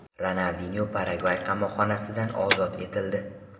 Ronaldinyo Paragvay qamoqxonasidan ozod etildi.